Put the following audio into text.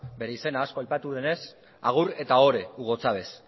bere izena asko aipatu denez agur eta ohore hugo chávez